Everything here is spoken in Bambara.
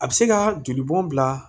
A bɛ se ka jolibɔn bila